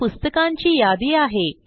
ही पुस्तकांची यादी आहे